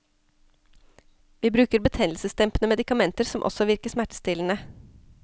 Vi bruker betennelsesdempende medikamenter som også virker smertestillende.